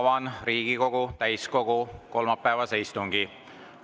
Avan Riigikogu täiskogu kolmapäevase istungi.